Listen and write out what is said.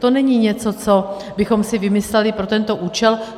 To není něco, co bychom si vymysleli pro tento účel.